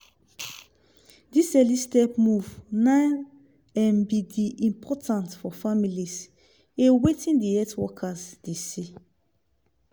this early step move na em be the important for families a wetin the health workers de say